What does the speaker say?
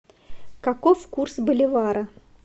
каков курс боливара